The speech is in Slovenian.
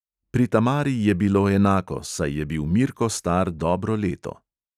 Pri tamari je bilo enako, saj je bil mirko star dobro leto.